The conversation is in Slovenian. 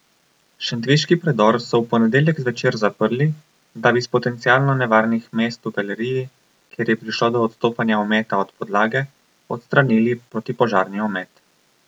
Šentviški predor so v ponedeljek zvečer zaprli, da bi s potencialno nevarnih mest v galeriji, kjer je prišlo do odstopanja ometa od podlage, odstranili protipožarni omet.